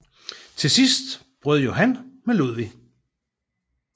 Til sidst brød Johan med Ludvig